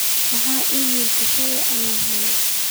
maxaa iimaylo ah shalay aan helay